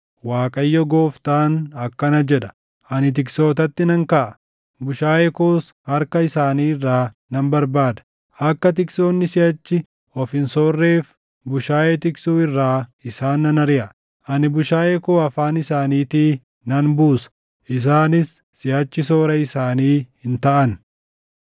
Waaqayyo Gooftaan akkana jedha: Ani tiksootatti nan kaʼa; bushaayee koos harka isaanii irraa nan barbaada. Akka tiksoonni siʼachi of hin soorreef bushaayee tiksuu irraa isaan nan ariʼa. Ani bushaayee koo afaan isaaniitii nan buusa; isaanis siʼachi soora isaanii hin taʼan.